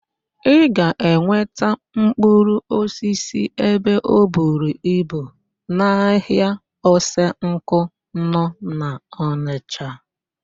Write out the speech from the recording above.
Ị ga-enweta mkpụrụosisi ebe oburu ibu n'ahịa Osenkụ nọ n'Ọnịsha.